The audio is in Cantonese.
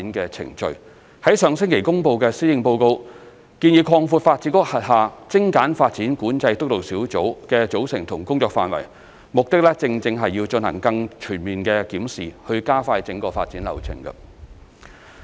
上星期公布的《行政長官2020年施政報告》建議擴闊發展局轄下精簡發展管制督導小組的組成和工作範圍，目的正是要進行更全面檢視以加快整個發展流程。